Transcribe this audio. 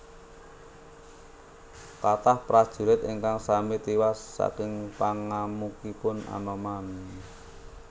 Kathah prajurit ingkang sami tiwas saking pangamukipun Anoman